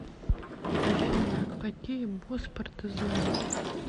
афина какие боспор ты знаешь